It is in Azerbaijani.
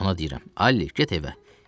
Ona deyirəm: Alli, get evə.